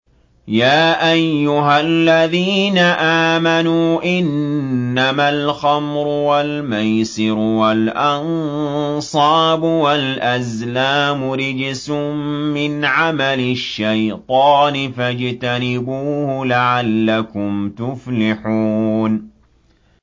يَا أَيُّهَا الَّذِينَ آمَنُوا إِنَّمَا الْخَمْرُ وَالْمَيْسِرُ وَالْأَنصَابُ وَالْأَزْلَامُ رِجْسٌ مِّنْ عَمَلِ الشَّيْطَانِ فَاجْتَنِبُوهُ لَعَلَّكُمْ تُفْلِحُونَ